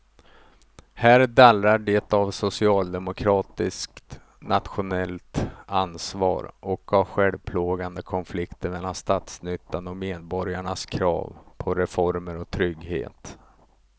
Här dallrar det av socialdemokratiskt nationellt ansvar och av självplågande konflikter mellan statsnyttan och medborgarnas krav på reformer och trygghet.